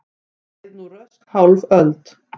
Leið nú rösk hálf öld.